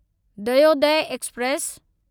Dayodaya express